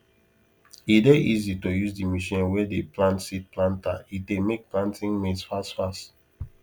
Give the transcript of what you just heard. e dey easy to use the machine wey di plant seed planter e dey make planting maize fast fast